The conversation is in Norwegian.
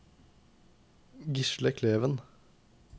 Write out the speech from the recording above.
Gisle Kleven